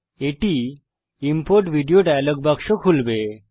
এটি import video dialog বাক্স খুলবে